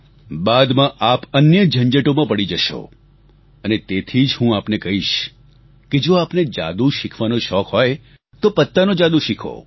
બાદમાં આપ અન્ય ઝંઝટોમાં પડી જશો અને તેથી જ હું આપને કહીશ કે જો આપને જાદુ શીખવાનો શોખ હોય તો પત્તાનો જાદુ શીખો